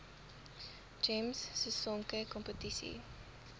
gems sisonke kompetisie